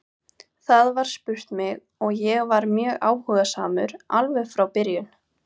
Það var spurt mig og ég var mjög áhugasamur alveg frá byrjun.